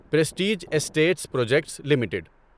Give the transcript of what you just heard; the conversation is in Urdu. prestige Estates Projects limited